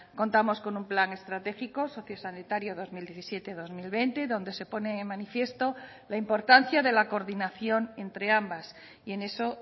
contamos con un plan estratégico sociosanitario dos mil diecisiete dos mil veinte donde se pone de manifiesto la importancia de la coordinación entre ambas y en eso